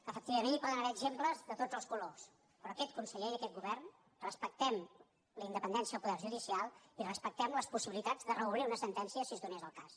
efectivament hi poden haver exemples de tots els colors però aquest conseller i aquest govern respectem la independència del poder judicial i respectem les possibilitats de reobrir una sentència si es donés el cas